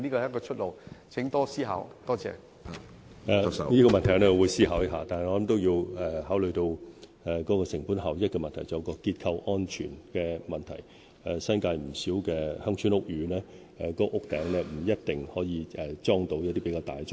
我會思考這個問題，但我認為同時也要考慮成本效益及結構安全的問題，因為新界不少鄉村屋宇的天台未必能夠安裝較大型的裝置。